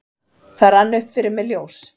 Það rann upp fyrir mér ljós: